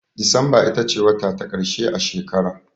Disamba ita ce wata ta ƙarshe a shekara.